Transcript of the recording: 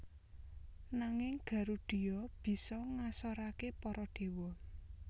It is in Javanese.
Nanging Garudheya bisa ngasoraké para dewa